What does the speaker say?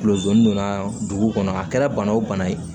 Kulo donna dugu kɔnɔ a kɛra bana o bana ye